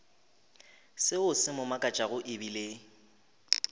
seo se mo makatšago ebile